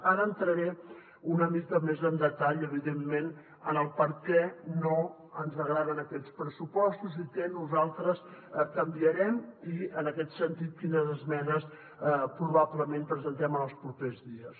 ara entraré una mica més en detall evidentment en per què no ens agraden aquests pressupostos i què nosaltres hi canviarem i en aquest sentit quines esmenes probablement presentarem en els propers dies